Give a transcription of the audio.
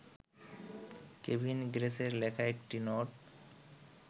Kevin গ্রেসের লেখা একটি নোট